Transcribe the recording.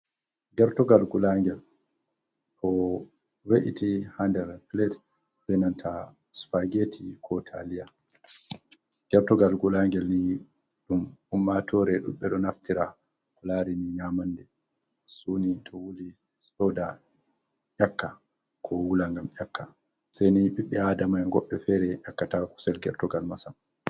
Gertogal gulangel ɗo we'iti ha nder plat ɓe nanta spageti ko taliya. Gertogal gulangel ni ɗum ummatore ɗuɗɓe ɗo naftira ko lari ni nyamande suni to wuli soda yakka ko wula ngam yakka, sai ni ɓiɓɓe Adama goɗɗe fere yakkata kusel Gertogal ma sam.